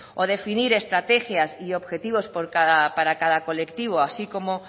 o definir estrategias y objetivos para cada colectivo así como